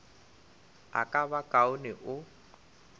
a ka ba kaone o